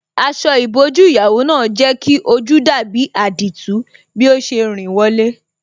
Aṣọ ìbòjú ìyàwó náà jẹ́ kí ojú dàbí àdììtú bí ó ṣe rìn wọlé.